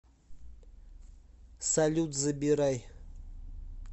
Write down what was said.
салют забирай